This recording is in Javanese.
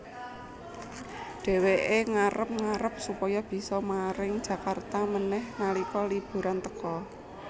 Dheweké ngarep ngarep supaya bisa maring Jakarta manèh nalika liburan teka